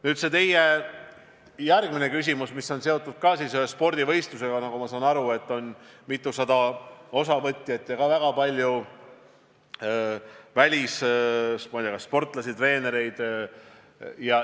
Nüüd see teie järgmine küsimus, mis on seotud ühe spordivõistlusega, kus – nagu ma aru saan – on mitusada osavõtjat, sh väga palju välissportlasi ja treenereid.